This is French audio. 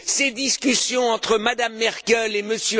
Ces discussions entre Mme Merkel et